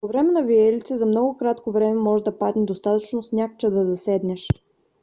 по време на виелици за много кратко време може да падне достатъчно сняг че да заседнеш